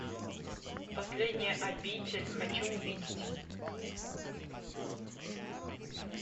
последняя обитель хочу увидеть